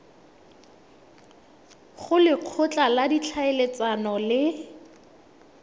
go lekgotla la ditlhaeletsano le